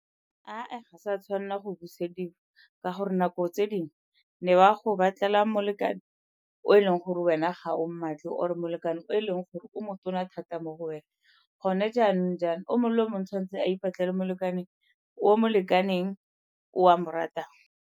sa tshwanela go busediwa ka gore nako tse dingwe ne ba go batlela molekane o e leng gore wena gao mmatle or-e molekane o e leng gore o mo tona thata mo go wena. Gone jaanong jaana, o mongwe le o mongwe o tshwanetse a ipatlele molekane o o mo lekaneng o a mo ratang.